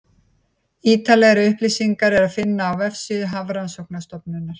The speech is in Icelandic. Ítarlegri upplýsingar er að finna á vefsíðu Hafrannsóknastofnunarinnar.